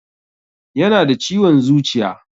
Yana da ciwon zuciya